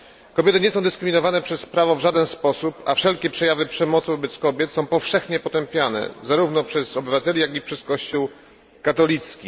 Kobiety nie są dyskryminowane przez prawo w żaden sposób, a wszelkie przejawy przemocy wobec kobiet są powszechnie potępiane, zarówno przez obywateli, jak i przez Kościół katolicki.